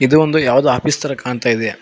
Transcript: ಇದು ಒಂದು ಯಾವುದೋ ಆಫೀಸ್ ತರ ಕಾಣ್ತಾ ಇದೆ.